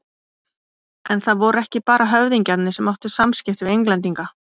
En það voru ekki bara höfðingjarnir sem áttu samskipti við Englendinga.